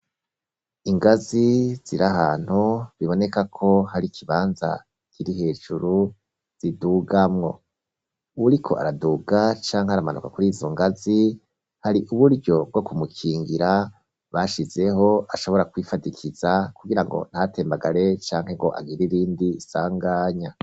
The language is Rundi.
Ingazi ziri ahantu, biboneka ko hari ikibanza kiri hejuru, zidugamwo; uwuriko araduga canke aramanuka kuri izo ngazi, hari uburyo bwo kumukingira, bashizeho, ashobora kwifadikiza, kugira ngo ntatembagare canke ngo agire irindi sanganya.